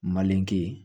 Malenke